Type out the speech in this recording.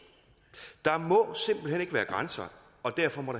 tak må simpelt hen ikke være grænser og derfor må